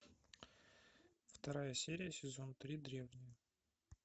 вторая серия сезон три древние